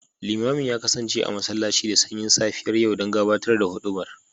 Limamin ya kasance a masallaci da sanyin safiyar yau don gabatar da hudubar